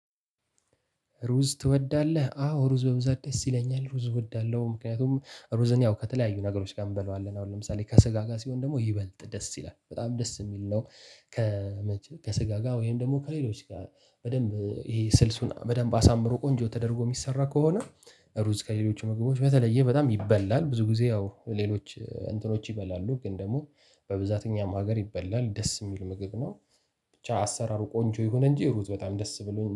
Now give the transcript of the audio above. ሩዝ ትወዳለህ አዎ ሩዝ በብዛት ደስ ይለኛል ሩዝ እወዳለሁ። ምክንያቱም ሩዝን ያው ከተለያዩ ነገሮች ጋር እንበለዋለን አሁን ለምሳሌ ከስጋ ጋር ሲሆን ደግሞ ይበልጥ ደስ ይላል በጣም ደስ የሚል ነው። ከመቼ ከስጋ ጋር ወይም ደግሞ ከሌሎች ጋር በደንብ ይሄ ስልሱን በደንብ አሳምሮ ቆንጆ ተደርጎ የሚሰራ ከሆነ። ሩዝ ከሌሎቹ ምግቦች በተለየ በጣም ይበላል ብዙ ጊዜ ያው ሌሎች እንትኖች ይበላሉ ግን ደግሞ በብዛተኛም ሀገር ይበላል ደስ የሚል ምግብ ነው። ብቻ አሰራሩ ቆንጆ ይሁን እንጂ ሩዝ በጣም ደስ ብሎኝ